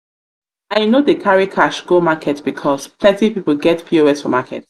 i no dey carry cash go market because plenty pipo get pos for market.